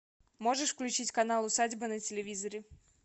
можешь включить канал усадьба на телевизоре